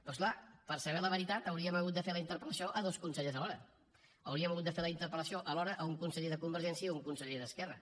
però és clar per saber la veritat hauríem hagut de fer la interpel·lació a dos consellers alhora hauríem hagut de fer la interpel·lació alhora a un conseller de convergència i a un conseller d’esquerra